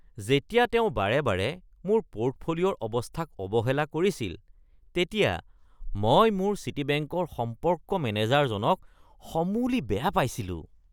যেতিয়া তেওঁ বাৰে বাৰে মোৰ পৰ্টফোলিঅ’ৰ অৱস্থাক অৱহেলা কৰিছিল তেতিয়া মই মোৰ চিটিবেংকৰ সম্পৰ্ক মেনেজাৰজনক সমূলি বেয়া পাইছিলোঁ।